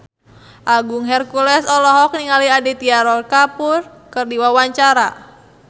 Agung Hercules olohok ningali Aditya Roy Kapoor keur diwawancara